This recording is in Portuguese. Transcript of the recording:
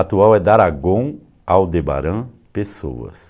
Atual é Daragon Aldebaran Pessoas.